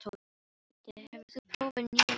Höddi, hefur þú prófað nýja leikinn?